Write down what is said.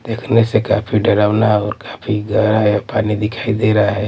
देखने से काफी डरावना और काफी गया है पानी दिखाई दे रहा है।